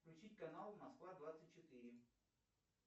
включить канал москва двадцать четыре